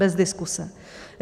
Bez diskuse.